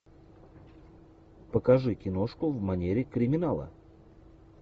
покажи киношку в манере криминала